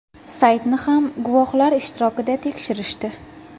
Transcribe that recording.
Saytni ham guvohlar ishtirokida tekshirishdi.